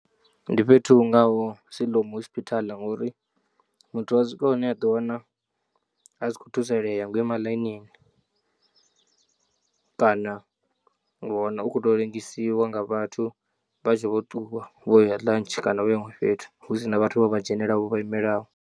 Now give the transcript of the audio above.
Ndi fhethu hungaho Siloam hospital ngori muthu wa swika hune a ḓiwana a si kho thusalea ngo ima ḽainini kana wa wana u kho to lengisiwa nga vhathu vha tshe vho ṱuwa vhoya lunch kana vho ya huṅwe fhethu hu sina vhathu vho vha dzhenelaho kana vho vha imelaho.